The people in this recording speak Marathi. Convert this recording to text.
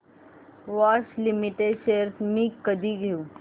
बॉश लिमिटेड शेअर्स मी कधी घेऊ